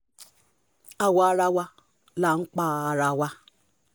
àwa ará wa là ń pa ara wa